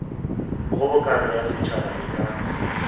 kgobokano ya setšhaba e ka